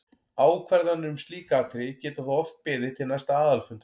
Ákvarðanir um slík atriði geta þó oft beðið til næsta aðalfundar.